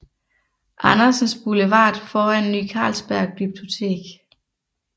Andersens Boulevard foran Ny Carlsberg Glyptotek